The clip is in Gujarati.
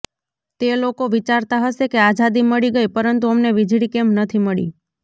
તે લોકો વિચારતા હશે કે આઝાદી મળી ગઈ પરંતુ અમને વીજળી કેમ નથી મળી